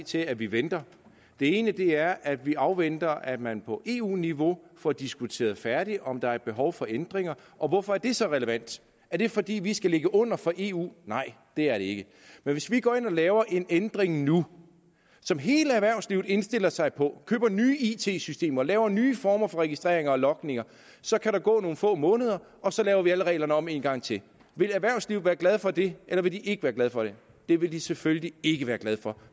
til at vi venter den ene er at vi afventer at man på eu niveau får diskuteret færdigt om der er et behov for ændringer og hvorfor er det så relevant er det fordi vi skal ligge under for eu nej det er det ikke men hvis vi går ind og laver en ændring nu som hele erhvervslivet indstiller sig på så køber nye it systemer og laver nye former for registreringer og logninger så kan der gå nogle få måneder og så laver vi alle reglerne om en gang til vil erhvervslivet være glade for det eller vil de ikke være glade for det det vil de selvfølgelig ikke være glade for